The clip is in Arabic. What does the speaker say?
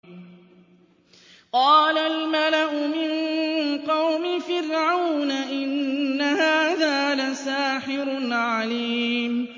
قَالَ الْمَلَأُ مِن قَوْمِ فِرْعَوْنَ إِنَّ هَٰذَا لَسَاحِرٌ عَلِيمٌ